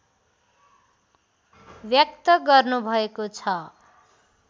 व्यक्त गर्नुभएको छ